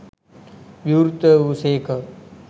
විවෘත වූ සේක.